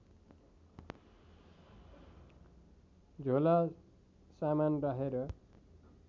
झोला सामान राखेर